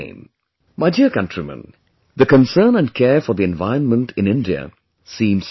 My dear countrymen, the concern and care for the environment in India seems natural